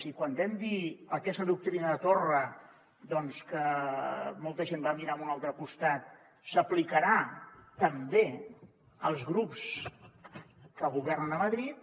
i quan vam dir aquesta doctrina torra doncs que molta gent va mirar a un altre costat s’aplicarà també als grups que governen a madrid